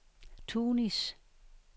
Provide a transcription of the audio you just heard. Tunis